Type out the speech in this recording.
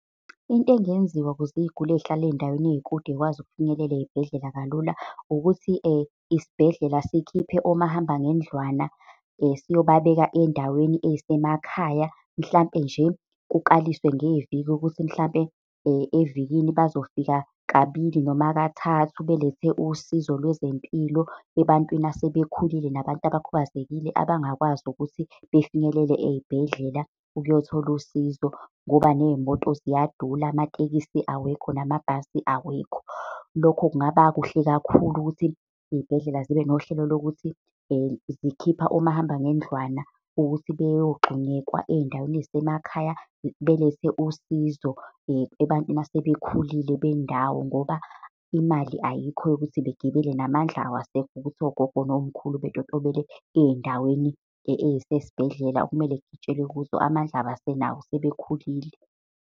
Into engenziwa ukuze iy'guli ey'hlala ey'ndaweni ey'kude yikwazi ukufinyelela ey'bhedlela kalula, ukuthi isibhedlela sikhiphe omahamba ngendlwana siyobabeka endaweni ey'semakhaya. Mhlampe nje kukaliswe ngeviki ukuthi mhlampe evikini bazofika kabili noma kathathu belethe usizo lwezempilo ebantwini asebekhulile, nabantu abakhubazekile, abangakwazi ukuthi befinyelele ey'bhedlela ukuyothola usizo, ngoba ney'moto ziyadula, amatekisi awekho, namabhasi awekho. Lokho kungaba kuhle kakhulu ukuthi iy'bhedlela zibe nohlelo lokuthi zikhipha omahamba ngendlwana ukuthi beyogxunyekwa ey'ndaweni ey'semakhaya. Belethe usizo ebantwini asebekhulile bendawo, ngoba imali ayikho yokuthi bagibele, namandla awasekho ukuthi ogogo nomkhulu betotobele ey'ndaweni ey'sesibhedlela, okumele kugitshelwe kuzo, amandla abasenawo sebekhulile.